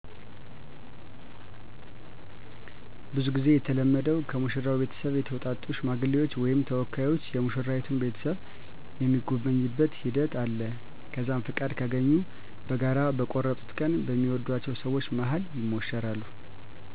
ብዙ ጊዜ የተለመደዉ ከሙሽራው ቤተሰብ የተውጣጡ ሽማግሌዎች ወይም ተወካዮች የሙሽራይቱን ቤተሰብ የሚጎበኙበት ሂደት አለ። ከዛም ፍቃድ ካገኙ በጋራ በቆርጡት ቀን በሚወድአቸው ሰወች መሀል ይሞሸራሉ።